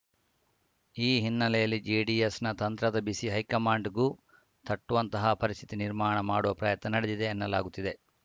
ಈ ಹಿನ್ನೆಲೆಯಲ್ಲಿ ಜೆಡಿಎಸ್‌ನ ತಂತ್ರದ ಬಿಸಿ ಹೈಕಮಾಂಡ್‌ಗೂ ತಟ್ಟುವಂತಹ ಪರಿಸ್ಥಿತಿ ನಿರ್ಮಾಣ ಮಾಡುವ ಪ್ರಯತ್ನ ನಡೆದಿದೆ ಎನ್ನಲಾಗುತ್ತಿದೆ